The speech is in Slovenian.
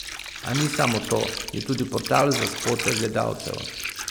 A ni samo to, je tudi portal za spote gledalcev.